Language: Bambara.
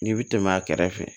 N'i bi tɛmɛ a kɛrɛfɛ